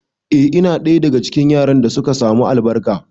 A'a, ina ɗaya daga cikin yaran da suka samu albarka